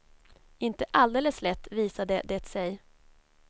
Inte alldeles lätt visade det sig.